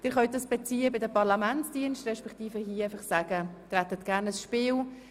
Sie können das Spiel bei den Parlamentsdiensten beziehen, respektive hier sagen, Sie hätten gerne ein Spiel.